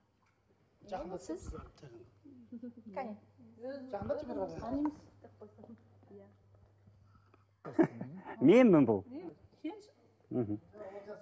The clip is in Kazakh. жақындатсай кәне жақындатшы бері қарай танимыз менмін бұл